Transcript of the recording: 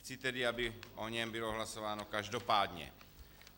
Chci tedy, aby o něm bylo hlasováno každopádně.